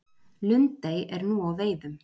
Lundey er nú á veiðum